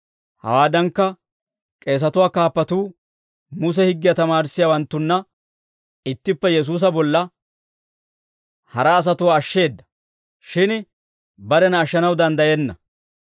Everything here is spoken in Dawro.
Hawaadankka k'eesatuwaa kaappatuu Muse higgiyaa tamaarissiyaawaanttunna ittippe Yesuusa bolla, «Hara asatuwaa ashsheeda; shin barena ashshanaw danddayenna;